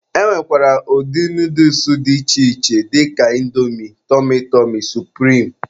E nwekwara ụdị nooduls dị iche iche dịka Índomi, tọmy tọmy, supirim wdg.